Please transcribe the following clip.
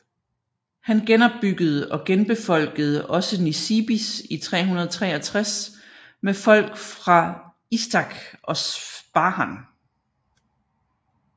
Han genopbyggede og genbefolkede også Nisibis i 363 med folk fra Istakhr og Spahan